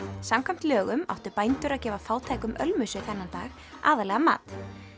samkvæmt lögum áttu bændur að gefa fátækum ölmusu þennan dag aðallega mat